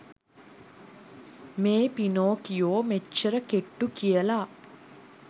මේ පිනොකියෝ මෙච්චර කෙට්ටු කියල